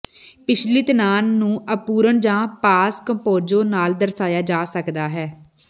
ਪਿਛਲੀ ਤਣਾਅ ਨੂੰ ਅਪੂਰਣ ਜਾਂ ਪਾਸ ਕੰਪੋਜ਼ਏ ਨਾਲ ਦਰਸਾਇਆ ਜਾ ਸਕਦਾ ਹੈ